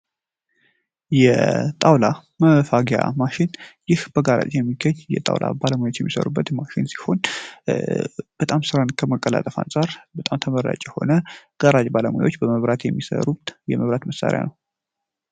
የጣውላ መፋቂያ ማሽን ይህ በጣውላ ቤት የሚገኝ ሲሆን በጣም ስራን ከማቀላጠፉ አንጻር በጣም ተመራጭ የሆነ የጋራ ባለሙያዎች በመብራት የሚሰሩበት የመብራት መሳሪያ ነው።